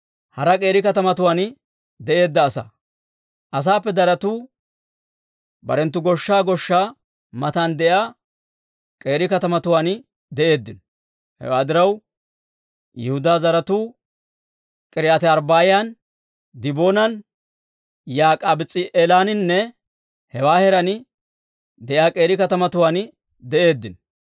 Asaappe daratu barenttu goshshaa goshshaa matan de'iyaa k'eeri katamatuwaan de'eeddino. Hewaa diraw, Yihudaa zaratuu K'iriyaati-Arbbaa'an, Diboonan, Yak'abis's'i'eelaaninne hewaa heeraan de'iyaa k'eeri katamatuwaan de'eeddino.